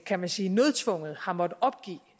kan man sige nødtvunget har måttet opgive